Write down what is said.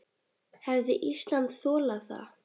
Hefði Ísland þolað það?